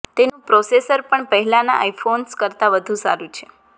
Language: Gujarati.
તેનું પ્રોસેસર પણ પહેલાના આઇફોન્સ કરતા વધુ સારૂ છે